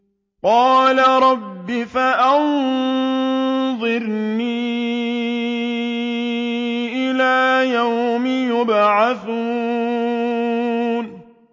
قَالَ رَبِّ فَأَنظِرْنِي إِلَىٰ يَوْمِ يُبْعَثُونَ